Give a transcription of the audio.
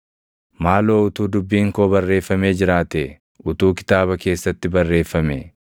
“Maaloo utuu dubbiin koo barreeffamee jiraatee! Utuu kitaaba keessatti barreeffamee!